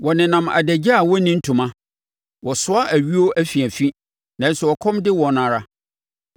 Wɔnenam adagya a wɔnni ntoma; wɔsoa ayuo afiafi, nanso ɛkɔm de wɔn ara.